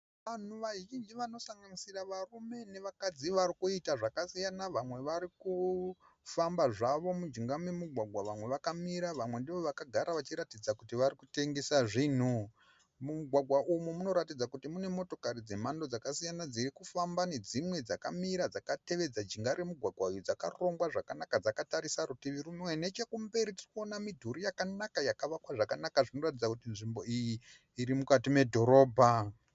Vanhu vazhinji vanosanganisira varume nevakadzi vari kuita zvakasiyana. Vamwe vari kufamba zvavo mujinga memugwagwa, vamwe vakamira vamwe ndoo vakagara vachiratidza kuti vari kutengesa zvinhu. Mumugwagwa umu munoratidza kuti mune motokari dzemhando dzakasiyana dziri kufamba nedzimwe dzakamira dzakatevedza jinga remugwagwa uyu dzakarongwa zvakanaka dzakatarisa rutivi rwumwe. Nechekumberi tirikuona midhuri yakanaka yakavakwa zvakanaka zvinoratidza kuti tsvimbo iyi iri mukati medhorobha.